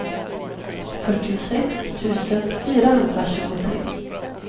fyrtiosex tusen fyrahundratjugotre